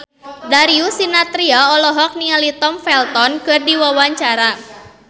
Darius Sinathrya olohok ningali Tom Felton keur diwawancara